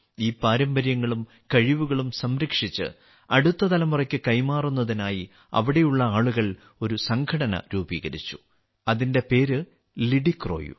ഈ പാരമ്പര്യങ്ങളും കഴിവുകളും സംരക്ഷിച്ച് അടുത്ത തലമുറയ്ക്ക് കൈമാറുന്നതിനായി അവിടെയുള്ള ആളുകൾ ഒരു സംഘടന രൂപീകരിച്ചു അതിന്റെ പേര് ലിഡിക്രോയു